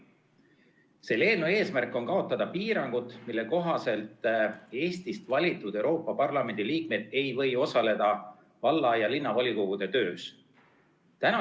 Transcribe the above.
Selle eelnõu eesmärk on kaotada piirangud, mille kohaselt Eestist valitud Euroopa Parlamendi liikmed ei või osaleda valla- ja linnavolikogu töös.